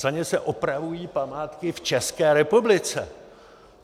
Za ně se opravují památky v České republice!